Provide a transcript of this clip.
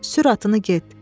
Sür atını get.